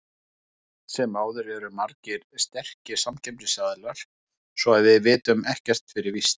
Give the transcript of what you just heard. En samt sem áður eru margir sterkir samkeppnisaðilar, svo að við vitum ekkert fyrir víst.